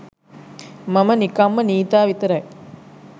මම නිකම්ම නීතා විතරයි.